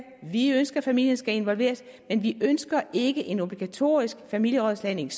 vi ønsker at familien skal involveres men vi ønsker ikke en obligatorisk familierådslagning